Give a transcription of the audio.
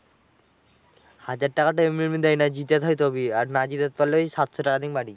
হাজার টাকাটা তো এমনি এমনি দেয় না, জেতাতে হয় তবেই। আর না জেতাতে পারলে ওই সাতশো টাকা দিয়েই বাড়ি।